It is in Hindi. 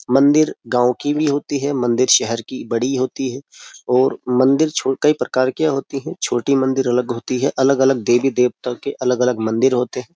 मंदिर गांव की भी होती है। मंदिर शहर की बड़ी होती है और मंदिर छोटी प्रकार की होती है। छोटी मंदिर अलग होती है। अलग-अलग देवी देवता के अलग-अलग मंदिर होते हैं।